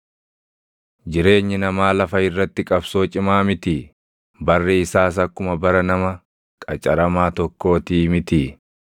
“Jireenyi namaa lafa irratti qabsoo cimaa mitii? Barri isaas akkuma bara nama qacaramaa tokkootii mitii?